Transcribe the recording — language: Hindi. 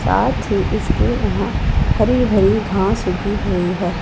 साथ ही इसमें यहां हरे भरे घास भी दिख रही हैं।